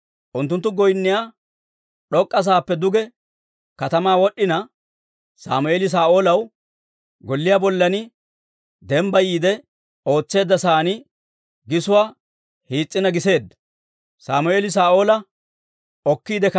Unttunttu goynniyaa d'ok'k'a saappe duge katamaa wod'd'ina, Sammeeli Saa'oolaw golliyaa bollan dembbayiide ootseedda sa'aan gisuwaa hiis's'ina giseedda.